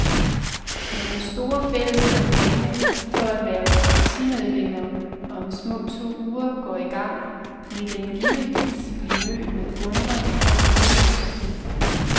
Når den store, fælles kampagne for at hverve partimedlemmer om små to uger går i gang, vil den givetvis blive mødt med undren og hovedrysten.